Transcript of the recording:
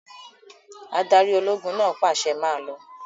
Adarí ológun náà pàṣẹ, 'Máa lọ!